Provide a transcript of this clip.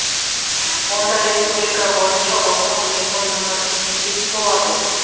онда республика бойынша ортақ телефон нөмірі жұмыс істейтін болады